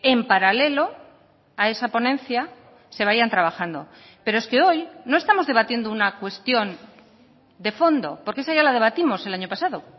en paralelo a esa ponencia se vayan trabajando pero es que hoy no estamos debatiendo una cuestión de fondo porque esa ya la debatimos el año pasado